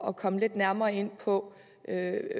at komme lidt nærmere ind på